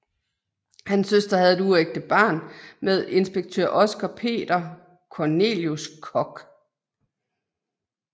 Hans søster havde et uægte barn med inspektør Oscar Peter Cornelius Kock